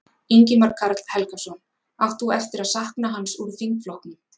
Ingimar Karl Helgason: Átt þú eftir að sakna hans úr þingflokknum?